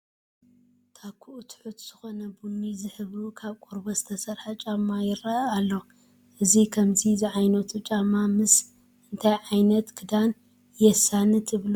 ታኩኡ ትሑት ዝኾነ ቡኒ ዝሕብሩ ካብ ቆርበት ዝተሰርሐ ጫማ ይርአ ኣሎ፡፡ እዚ ከምዚ ዝዓይነቱ ጫም ምስ እንታይ ዓይነት ክዳን የሳኒ ትብሉ?